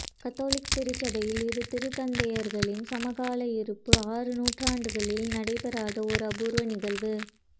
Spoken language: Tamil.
கத்தோலிக்க திருச்சபையில் இரு திருத்தந்தையர்களின் சமகால இருப்பு ஆறு நூற்றாண்டுகளில் நடைபெறாத ஒரு அபூர்வ நிகழ்வு